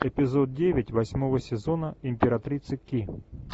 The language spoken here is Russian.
эпизод девять восьмого сезона императрицы ки